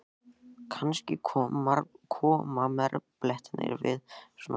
Kannski koma marblettirnir við svona tækifæri?